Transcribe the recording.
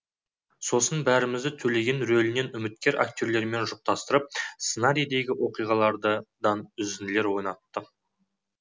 сосын бәрімізді төлеген рөлінен үміткер актерлермен жұптастырып сценарийдегі оқиғалардан үзінділер ойнатты